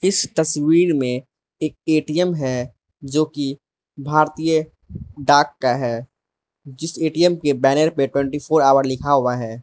इस तस्वीर में एक ए_टी_म है जो कि भारतीय डाक का है जिस ए_टी_म के बैनर पे ट्वेंटी फोर आवर लिखा हुआ है।